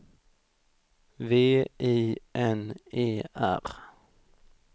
V I N E R